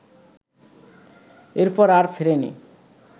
এরপর আর ফেরেনি